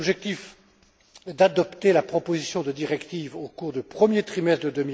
Notre objectif est d'adopter la proposition de directive au cours du premier trimestre